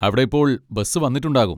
അവിടെ ഇപ്പോൾ ബസ് വന്നിട്ടുണ്ടാകും.